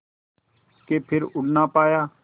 के फिर उड़ ना पाया